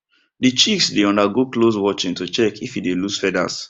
the chicks dey undergo close watching to check if e dey loss feathers